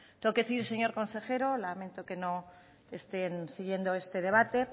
tengo que decir señor consejero lamento que no estén siguiendo este debate